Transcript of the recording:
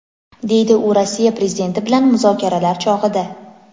deydi u Rossiya Prezidenti bilan muzokaralar chog‘ida.